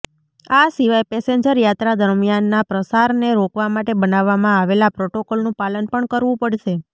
આ સિવાય પેસેન્જર યાત્રા દરમિયાનના પ્રસારને રોકવા માટે બનાવવામાં આવેલા પ્રોટોકોલનું પાલન પણ કરવુ પડશે